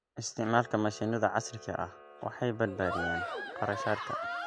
Isticmaalka mashiinnada casriga ah waxay badbaadiyaan kharashaadka.